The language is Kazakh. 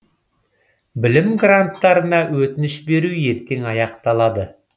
білім гранттарына өтініш беру ертең аяқталады